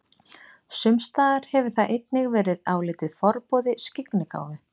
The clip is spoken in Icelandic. Sumstaðar hefur það einnig verið álitið forboði skyggnigáfu.